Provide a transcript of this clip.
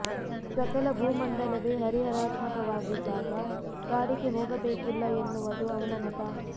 ಸಕಲ ಭೂ ಮಂಡಲವೇ ಹರಿಹರಾತ್ಮಕವಾಗಿದ್ದಾಗ ಕಾಡಿಗೆ ಹೋಗಬೇಕಿಲ್ಲ ಎನ್ನುವದು ಅವನ ಮತ